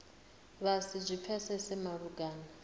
vha si zwi pfesese malugana